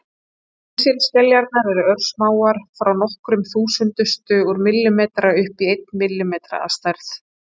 Kísilskeljarnar eru örsmáar, frá nokkrum þúsundustu úr millimetra upp í einn millimetra að stærð.